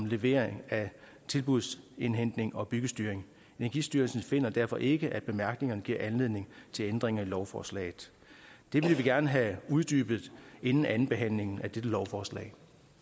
levering af tilbudsindhentning og byggestyring energistyrelsen finder derfor ikke at bemærkningerne giver anledning til ændringer af lovforslaget det vil vi gerne have uddybet inden andenbehandlingen af dette lovforslag